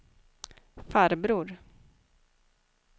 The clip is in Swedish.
farbror